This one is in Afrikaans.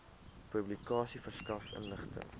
publikasie verskaf inligting